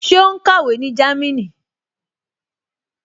Ṣé ó kàwé ní Jámínì?